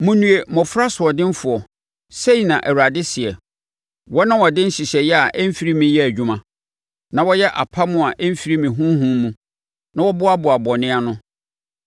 “Monnue mmɔfra asoɔdenfoɔ,” sɛi na Awurade seɛ, “Wɔn a wɔde nhyehyɛeɛ a ɛmfiri me yɛ adwuma, na wɔyɛ apam a ɛmfiri me honhom mu, na wɔboaboa bɔne ano;